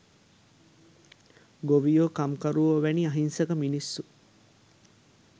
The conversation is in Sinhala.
ගොවියෝ කම්කරුවෝ වැනි අහිංසක මිනිස්‌සු.